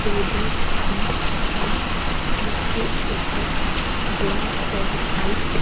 table भी है जिसके ऊपर ब्लैक और व्हाइट --